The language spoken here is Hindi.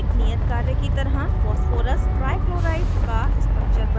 एक नियत कार्य की तरह phosphorus trichloride का structure बनायें